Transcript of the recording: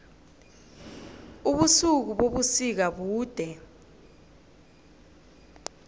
ubusuku bebusika bude